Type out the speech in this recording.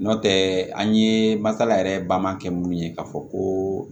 N'o tɛ an ye masala yɛrɛ baman kɛ mun ye k'a fɔ ko